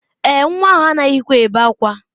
Èè, nwa ahụ anaghịkwa ebe ákwá.